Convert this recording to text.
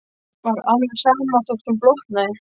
Var alveg sama þótt hún blotnaði.